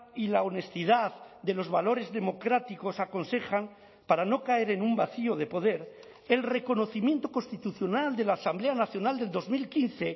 y la honestidad de los valores democráticos aconsejan para no caer en un vacío de poder el reconocimiento constitucional de la asamblea nacional del dos mil quince